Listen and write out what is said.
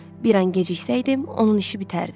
Bir an geciksəydim onun işi bitərdi.